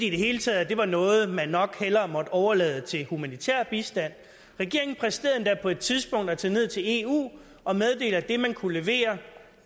i det hele taget at det var noget man nok hellere måtte overlade til humanitær bistand regeringen præsterede endda på et tidspunkt at tage ned til eu og meddele at det man kunne levere